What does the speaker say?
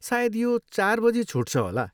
सायद यो चार बजी छुट्छ होला।